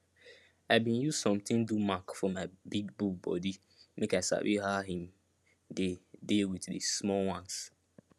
i bin use something do mark for my big bull body make i sabi how him dey dey with the small ones